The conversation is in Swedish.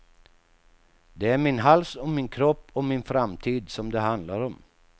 Det är min hals och min kropp och min framtid som det handlar om.